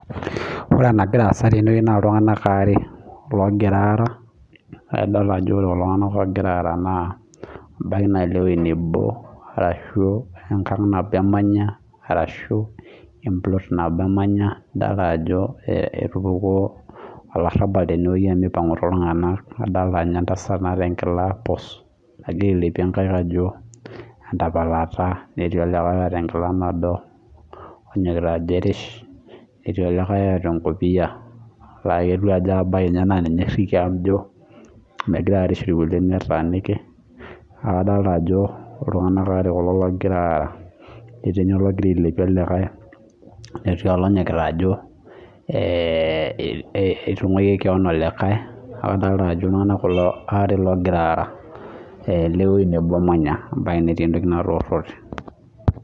Ore enagira asaa tene naa iltung'ana are loongira araa adol Ajo ore kulo tung'ana ogira Ara ebaiki naa lewueji nebo ashu engag nabo emanya ashu emplot nabo emanya neeku kajo etupukua olarrabal omipangu iltung'ana adolita ninye entasat nataa enkila puus nagira ailepie nkaik Ajo entapalata netii olikae otaa enkila nado onyokita Ajo arish etii olikae otaa enkopia naa emaniki Ajo ninye oirikia Ajo megira arish irkulie netaniki neeku adolita Ajo iltung'ana are kulo ogira araa etii ninye ologira ailepie olekai netii olonyokita Ajo aitunguki kewaon olikae neeku adolita Ajo iltung'ana kulo are loogira Ara ewueji nebo Amaya ebaiki netii entoki natorote